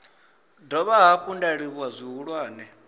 dovha hafhu nda livhuwa zwihulwane